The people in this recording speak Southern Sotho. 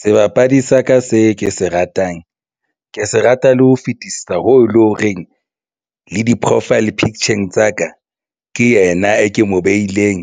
Sebapadi sa ka se ke se ratang ke se rata le ho fetisisa ho le ho reng le di-profile picture-ng tsa ka ke yena e ke mo beileng,